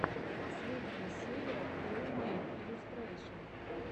последняя серия хоуммэйд иллюстрэйшэн